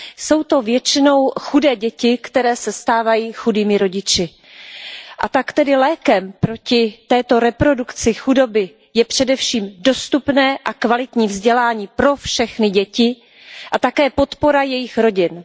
Jsou to většinou chudé děti, které se stávají chudými rodiči, a tak tedy lékem proti této reprodukci chudoby je především dostupné a kvalitní vzdělání pro všechny děti a také podpora jejich rodin.